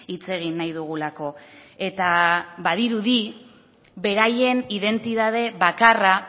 hitz egin nahi dugulako eta badirudi beraien identitate bakarra